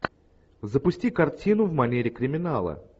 запусти картину в манере криминала